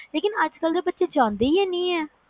ਲੇਕਿਨ ਅੱਜ ਕਲ ਦੇ ਬਚੇ ਜਾਂਦੇ ਹੈਂ ਨੀ ਹੈ